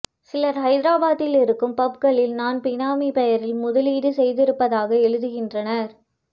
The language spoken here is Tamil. சிலர் ஹைதராபாத்தில் இருக்கும் பஃப்களில் நான் பினாமி பெயரில் முதலீடு செய்திருப்பதாக எழுதுகின்றனர்